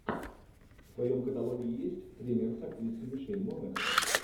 в твоем каталоге есть тренер с актрисой мишель монахэн